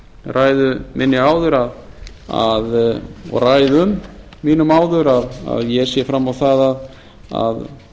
ræðu minni áður og ræðum mínum áður að ég sé fram á það að